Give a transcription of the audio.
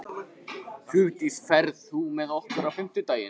Hugdís, ferð þú með okkur á fimmtudaginn?